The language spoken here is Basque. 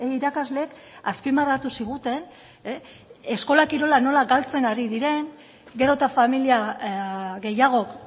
irakasleek azpimarratu ziguten eskola kirola nola galtzen ari diren gero eta familia gehiagok